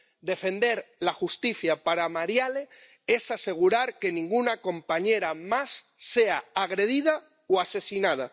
Defender la justicia para Marielle es asegurar que ninguna compañera más sea agredida o asesinada.